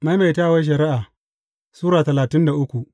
Maimaitawar Shari’a Sura talatin da uku